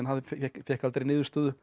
fékk aldrei niðurstöðu